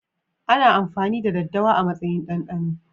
Ana amfani da daddawa a matsayin dandano